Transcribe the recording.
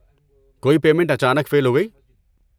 کوئی پیمنٹ اچانک فیل ہو گئی؟